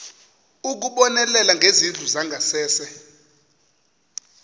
ukubonelela ngezindlu zangasese